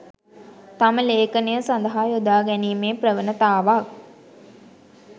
තම ලේඛනය සඳහා යොදා ගැනීමේ ප්‍රවණතාවක්